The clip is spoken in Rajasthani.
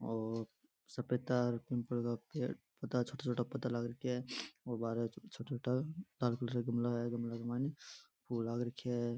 और सफ़ेद तार और पिम्पल का पेड़ पौधा छोटा छोटा पौधा लाग रखया है और बाहरे छोटा छोटा लाल कलर का गमला है और गमला में फूल लाग राख्या है।